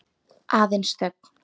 Aðeins þögn.